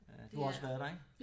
Du har også været der ik?